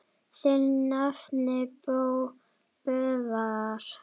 Þinn nafni, Böðvar.